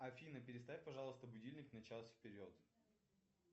афина переставь пожалуйста будильник на час вперед